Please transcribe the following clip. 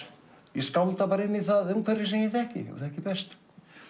ég skálda inn í það umhverfi sem ég þekki og þekki best